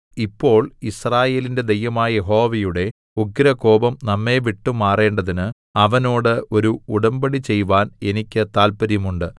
ഇപ്പോൾ യിസ്രായേലിന്റെ ദൈവമായ യഹോവയുടെ ഉഗ്രകോപം നമ്മെ വിട്ടുമാറേണ്ടതിന് അവനോട് ഒരു ഉടമ്പടി ചെയ്‌വാൻ എനിക്ക് താല്പര്യം ഉണ്ട്